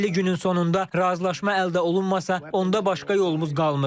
50 günün sonunda razılaşma əldə olunmasa, onda başqa yolumuz qalmır.